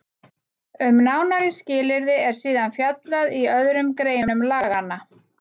Um nánari skilyrði er síðan fjallað í öðrum greinum laganna.